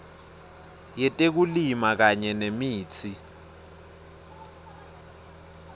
yetekulima kanye nemitsi